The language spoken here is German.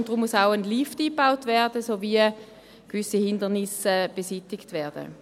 Deshalb muss ein Lift eingebaut werden, und gewisse Hindernisse müssen beseitigt werden.